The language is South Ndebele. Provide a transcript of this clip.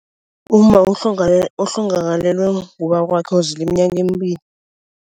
Umma ohlongakalelwe ngubaba wakwakhe uzila iminyaka emibili.